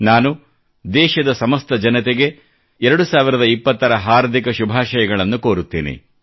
ನಾನು ದೇಶದ ಸಮಸ್ತ ಜನತೆಗೆ 2020ರ ಹಾರ್ದಿಕ ಶುಭಾಷಯಗಳನ್ನು ಕೋರುತ್ತೇನೆ